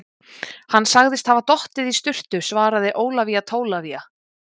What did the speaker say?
Hann sagðist hafa dottið í sturtu, svaraði Ólafía Tólafía.